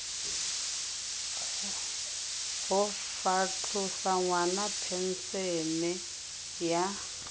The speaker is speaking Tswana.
go fatlhosa ngwana phensene ya